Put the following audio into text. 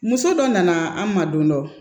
Muso dɔ nana an ma don dɔ